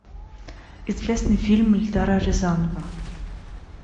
известный фильм эльдара рязанова